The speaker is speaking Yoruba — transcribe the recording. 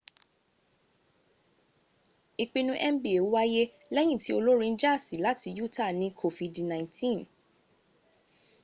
ìpinu nba wáyé lẹ́yìn tí olórin jaasi láti utah ní kofidi 19